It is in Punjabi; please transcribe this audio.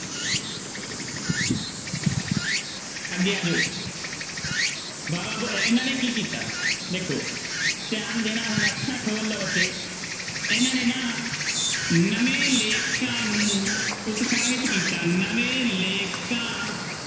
ਅੱਗੇ ਆ ਜਾਓ ਇਹਨਾਂ ਨੇ ਕੀ ਕੀਤਾ ਦੇਖੋ ਧਿਆਨ ਦੇਣਾ ਹੁਣ ਅੱਖਾਂ ਖੋਲ ਲਓ ਬੱਚੇ ਇਹਨਾਂ ਨੇ ਨਾ ਨਵੇਂ ਲੇਖਕਾਂ ਨੁੰ ਉਤਸਾਹਿਤ ਕੀਤਾ, ਨਵੇਂ ਲੇਖਕਾਂ